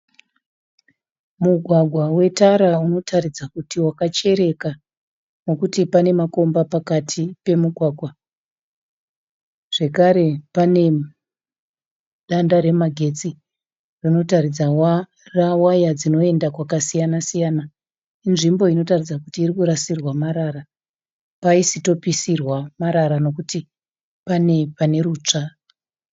Mugwagwa wetara unotaridza wakachereka nekuti pane makomba pakati pemugwagwa. Zvakare pane danda remagetsi rinotaridza waya dzinoenda kwakasiyana siyana. Inzvimbo inotaridza kuti inorasirwa marara. Paisitopisirwa marara nokuti pane pane rutsva.